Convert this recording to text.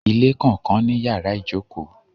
Ilé kànkan ní yàrá-ìjòkó